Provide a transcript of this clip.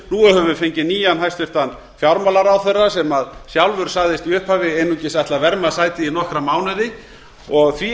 nú höfum við fengið nýjan hæstvirtur fjármálaráðherra sem sjálfur sagðist í upphafi einungis ætla að verma sætið í nokkra mánuði og því